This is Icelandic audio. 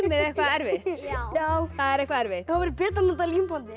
eitthvað erfitt já já það er eitthvað erfitt betra að nota límbandið